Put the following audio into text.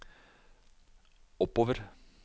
oppover